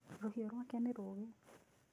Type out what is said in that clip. Rũhiũ rwake nĩ rũũgĩ.